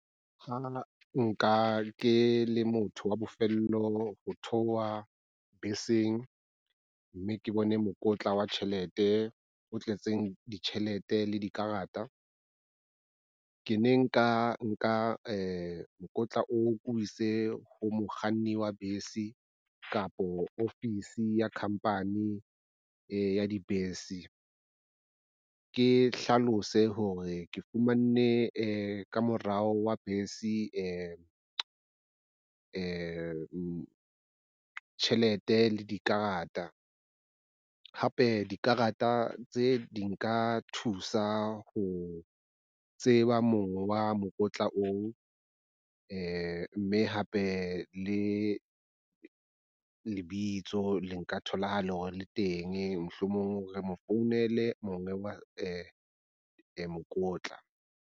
Ha nka ke le motho wa bofelo ho theoha beseng mme ke bone mokotla wa tjhelete o tletseng ditjhelete le dikarata. Ke ne ke ka nka mokotla oo ke o ise ho mokganni wa bese kapo ofisi ya khampani ya dibese. Ke hlalose hore ke fumanne ka morao wa bese. Tjhelete le dikarata hape dikarata tse di nka thusa ho tseba mongwe wa mokotla oo mme hape le lebitso le nka tholahala hore le teng mohlomong re mo founele monga wa mokotla.